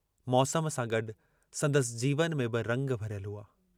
मौसम सां गड्डु संदसि जीवन में बि रंग भरियल हुआ।